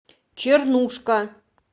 чернушка